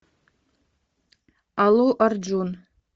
аллу арджун